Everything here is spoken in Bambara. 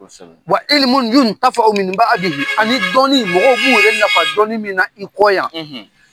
i ani dɔnni mɔgɔw b'u yƐrƐ nafa dɔnni min na i kɔ yan